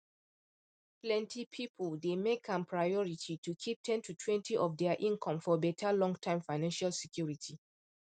plenty people dey make am priority to keep ten totwentyof their income for better longterm financial security